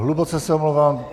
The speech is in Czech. Hluboce se omlouvám.